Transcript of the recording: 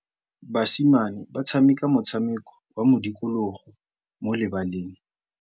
Basimane ba tshameka motshameko wa modikologô mo lebaleng.